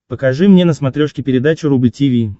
покажи мне на смотрешке передачу рубль ти ви